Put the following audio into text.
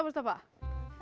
þetta var